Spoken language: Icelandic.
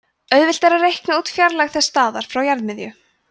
auðvelt er að reikna út fjarlægð þessa staðar frá jarðarmiðju